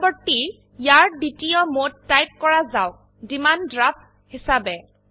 পৰবৰ্তী ইয়াৰ দ্বিতীয় মোড টাইপ কৰা যাওক ডিমাণ্ড ড্ৰাফ্ট হিসাবে